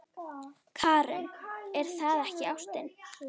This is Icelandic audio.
Karen: Er það ekki ástin?